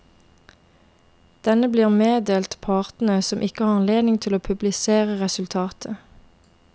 Denne blir meddelt partene, som ikke har anledning til å publisere resultatet.